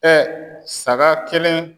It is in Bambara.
saga kelen